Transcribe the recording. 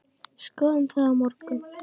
Skoðum það á morgun.